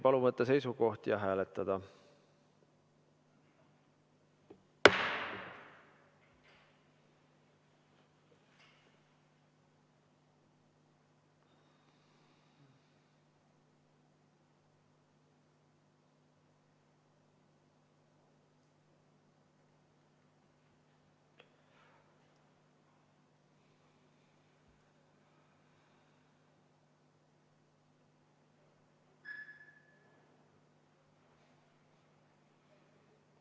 Palun võtta seisukoht ja hääletada!